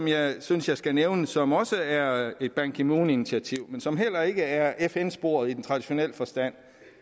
jeg synes jeg skal nævne som også er et ban ki moon initiativ men som heller ikke er fn sporet i den traditionelle forstand